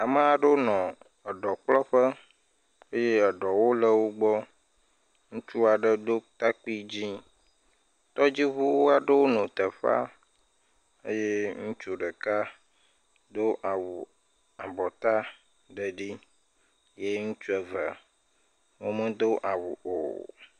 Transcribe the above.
Ame aɖewo nɔ ɖɔkplɔƒe eye ɖɔwo le wogbɔ ŋutsu aɖe do takpui dzĩ tɔdziʋu aɖewo nɔ teƒea eye ŋutsu ɖeka do awu abɔta ɖeɖi eye ŋutsu eve womedo awu o